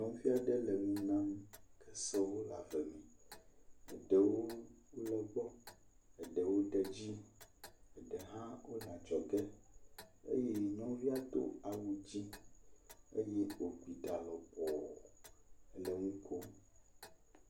Nyɔnuvi aɖe le nu nyam. Kesewo le ave me. Ɖewo le egbɔ eɖewo de edzi, ɖee hã wo le adzɔge eye nyɔnuvia do awu dzi eye wogbi ɖa lɔbɔ ele nu kom.